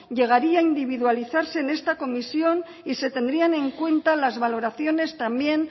llegaría a individualizarse en esta comisión y se tendrían en cuenta las valoraciones también